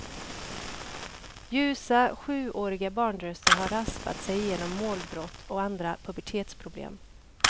Ljusa, sjuåriga barnröster har raspat sig igenom målbrott och andra pubertetsproblem.